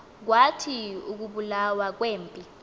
kwathi ukubulawa kwempi